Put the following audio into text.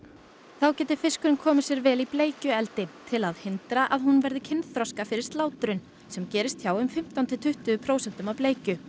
þá geti fiskurinn komið sér vel í bleikjueldi til að hindra að hún verði kynþroska fyrir slátrun sem gerist hjá um fimmtán til tuttugu prósentum af bleikju